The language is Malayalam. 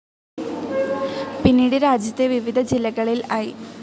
പിന്നീട് രാജ്യത്തെ വിവിധ ജില്ലകളിൽ ഐ.